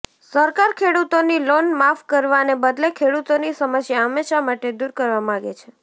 સરકાર ખેડૂતોની લોન માફ કરવાને બદલે ખેડૂતોની સમસ્યા હંમેશા માટે દૂર કરવા માંગે છે